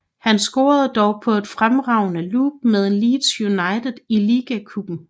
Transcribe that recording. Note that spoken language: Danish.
Han scorede dog på et fremragende lop mod Leeds United i Liga Cupen